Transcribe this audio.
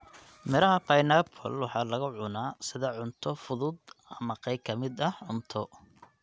Midhaha pineappla waxaa lagu cunaa sida cunto fudud ama qayb ka mid ah cunto.